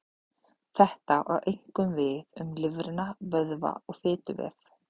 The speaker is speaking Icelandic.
Þetta á einkum við um lifrina, vöðva og fituvef.